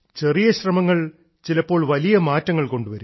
ചെറിയ ശ്രമങ്ങൾ ചിലപ്പോൾ വലിയ മാറ്റങ്ങൾ കൊണ്ടുവരും